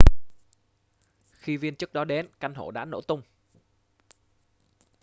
khi viên chức đó đến căn hộ đã nổ tung